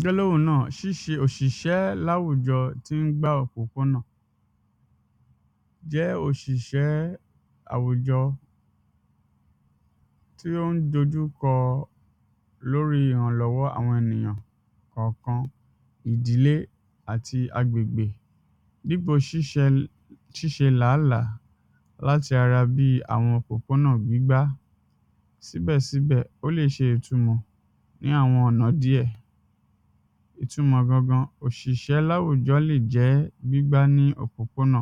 gbéláwò náà ṣíṣe òṣìṣẹ́ láwùjọ tín gbá òpópónà jẹ́ òṣìṣẹ́ àwùjọ tí ó ń dojú kọ lórí ìrànlọ́wọ́ àwọn ènìyàn kànkan ìdílé àti agbègbè níbo ṣíṣẹ ṣíṣe làálàá láti ara bíi àwọn òpópónà gbígbá síbẹ̀síbẹ̀ ó lè ṣe ìtúmọ̀ ní àwọn ọ̀nà díẹ̀ ìtúmọ̀ gangan òṣìṣẹ́ láwùjọ lè jẹ́ gbígbá ní òpópónà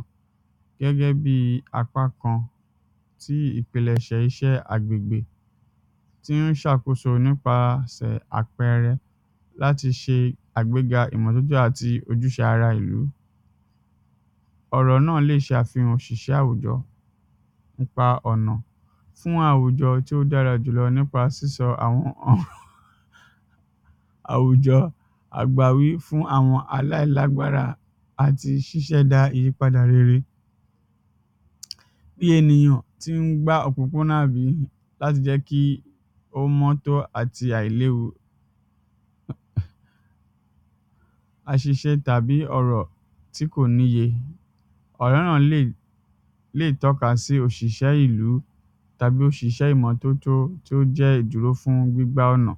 gẹ́gẹ́bíi apá kan tí ìpìnlẹ̀ṣẹ̀ iṣẹ́ agbègbè tín ṣàkóso nípasẹ̀ àpẹrẹ láti ṣe àgbéga ìmọ̀lódé àti ojúṣe ara ìlú ọ̀rọ̀ náà lè ṣàfihàn òṣìṣẹ́ àwùjọ nípa ọ̀nà fún àwùjọ tí ó dára jùlọ nípa sísọ àwọn àwùjọ agbàwí fún àwọn aláìlágbára àti ṣiṣẹ́ da ìyípadà rere bíi ènìyàn tín gbá òpópónà àbí láti jẹ́ kí ó mọ́ àti àìléwu àṣìṣe tàbí ọ̀rọ̀ tí kò níye, ọ̀rọ̀ náà lè lè tọ́ka sí òṣìṣẹ́ ìlú tàbí òṣìṣẹ́ ìmọ́tótó tí ó jẹ́ ìdúró fún gbígbá ọ̀nà